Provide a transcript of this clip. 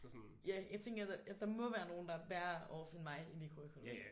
Ja jeg tænker der må være nogen der er værre off end mig i mikroøkonomi